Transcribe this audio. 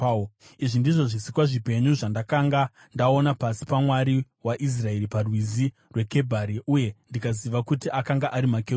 Izvi ndizvo zvisikwa zvipenyu zvandakanga ndaona pasi paMwari waIsraeri paRwizi rweKebhari, uye ndikaziva kuti akanga ari makerubhi.